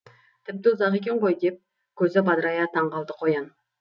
тіпті ұзақ екен ғой деп көзі бадырая таңғалды қоян